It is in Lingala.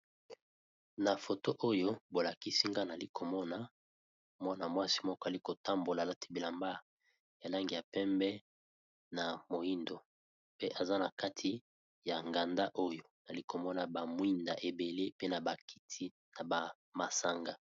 Na foto oyo bo lakisi nga nali komona mwana mwasi moko ali ko tambola alati bilamba ya langi ya pembe na moindo, pe aza na kati ya nganda oyo nali komona ba mwinda ebele pe na ba kiti na ba masanga.